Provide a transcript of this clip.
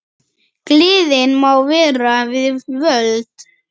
Gleðin má vera við völd.